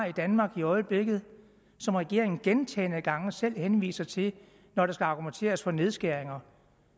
i danmark i øjeblikket som regeringen gentagne gange selv henviser til når der skal argumenteres for nedskæringer